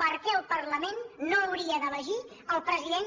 per què el parla·ment no hauria d’elegir el president